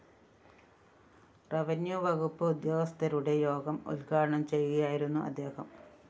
revenue വകുപ്പ് ഉദ്യോഗസ്ഥരുടെ യോഗം ഉദ്ഘാടനം ചെയ്യുകയായിരുന്നു അദ്ദേഹം